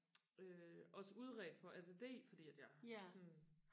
øh også udredt for ADD fordi at jeg sådan